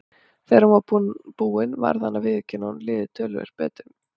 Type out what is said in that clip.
Þegar hún var búin varð hann að viðurkenna að honum liði töluvert betur.